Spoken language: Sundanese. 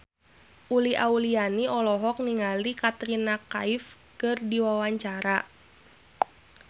Uli Auliani olohok ningali Katrina Kaif keur diwawancara